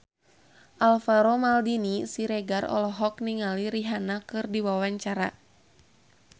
Alvaro Maldini Siregar olohok ningali Rihanna keur diwawancara